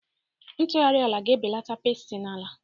Ntughari ala ga-ebelata pesti na-ala.